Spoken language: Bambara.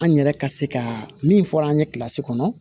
An yɛrɛ ka se ka min fɔra an ye kilasi kɔnɔ